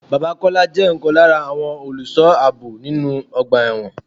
Bàbá Kọ́lá jẹ ọkan lára àwọn olùsọ ààbò nínú ọgbà ẹ̀wọ̀n.